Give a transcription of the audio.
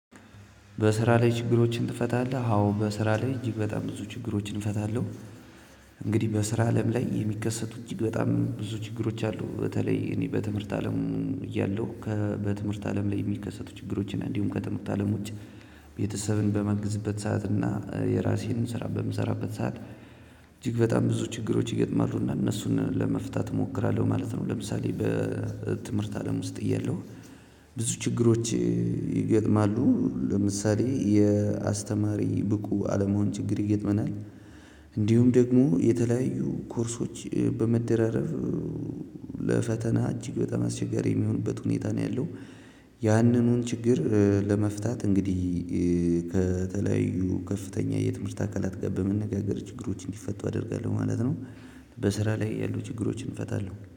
በስራ ላይ ችግሮችን ትፈታለህ? አዎ በስራ ላይ እጅግ በጣም ብዙ ችግሮችን እፈታለሁ። እንግዲህ በስራ አለም ላይ የሚከሰቱ እጅግ በጣም ብዙ ችግሮች አሉ። በተለይ እኔ በትምህርት አለሙ። እያለሁ በትምህርት አለም ላይ የሚከሰቱ ችግሮችን እንዲሁም ከትምህርት አለም ውጪ። ቤተሰብን በማግዝበት ሰዓት እና የራሴንም ስራ በምሰራበት ሰዓት እጅግ በጣም ብዙ ችግሮች ይገጥማሉና እነሱን ለመፍታት እሞክራለሁ ማለት ነው። ለምሳሌ በትምህርት አለም ውስጥ እያለው ብዙ ችግሮች ይገጥማሉ። ለምሳሌ የአስተማሪ ብቁ አለመሆን ችግር ይገጥመናል። እንዲሁም ደግሞ የተለያዩ ኮርሶች በመደራረብ ለፈተና እጅግ በጣም አስቸጋሪ የሚሆንበት ሁኔታ ነው ያለው። ያንኑን ችግር ለመፍታት እንግዲህ ከተለያዩ ከፍተኛ የትምህርት አካላት ጋር በመነጋገር ችግሮች እንዲፈቱ አደርጋለሁ ማለት ነው። በስራ ላይ ያሉ ችግሮችን እፈታለሁ